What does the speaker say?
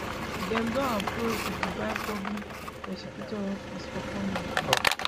dem don approach di dubai public prosecutor office for comment